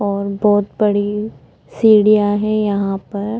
और बहोत बड़ी सीढ़ियां है यहाँ पर।